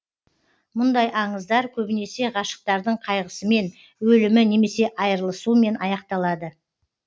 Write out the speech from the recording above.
мұндай аңыздар көбінесе ғашықтардың қайғысымен өлімі немесе айрылысуымен аяқталады